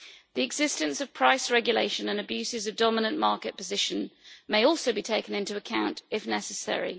The existence of price regulation and abuses of dominant market position may also be taken into account, if necessary.